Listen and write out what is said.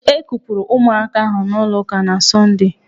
E kupụrụ ụmụaka ahụ n'ụlọ ụka na Sọndee.